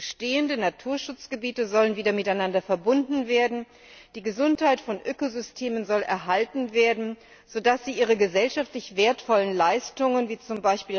Bestehende Naturschutzgebiete sollen wieder miteinander verbunden werden, die Gesundheit von Ökosystemen soll erhalten werden, sodass sie ihre gesellschaftlich wertvollen Leistungen wie z.